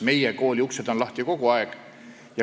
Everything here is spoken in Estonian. Meie kooli uksed on lahti kogu aeg.